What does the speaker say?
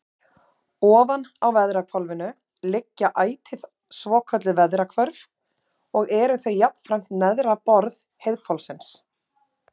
Ofan á veðrahvolfinu liggja ætíð svokölluð veðrahvörf og eru þau jafnframt neðra borð heiðhvolfsins.